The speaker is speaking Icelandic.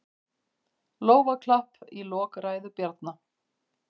Lófaklapp í lok ræðu Bjarna